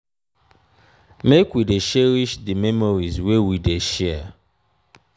make we dey cherish di memories wey we dey share.